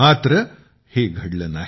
मात्र हे घडले नाही